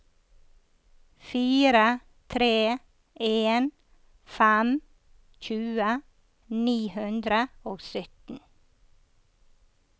fire tre en fem tjue ni hundre og sytten